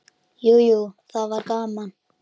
Jú, jú, það var gaman.